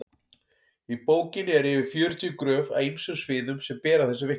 í bókinni eru yfir fjörutíu gröf af ýmsum sviðum sem bera þessu vitni